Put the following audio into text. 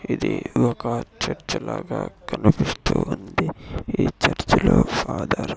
ఇది ఒక చర్చ్ లాగా కనిపిస్తూ ఉంది ఈ చర్చ్ లో ఫాదర్ --